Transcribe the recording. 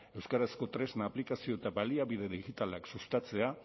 euskarazko tresna aplikazio eta baliabide digitalak sustatzea